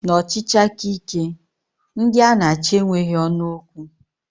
N'ọchịchị aka ike, ndị a na achị enweghị ọnụ okwu